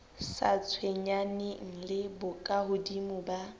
sa tshwenyaneng le bokahodimo ba